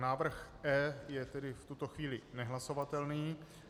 Návrh E je tedy v tuto chvíli nehlasovatelný.